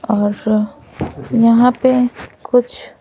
और फिर यहाँ पे कुछ--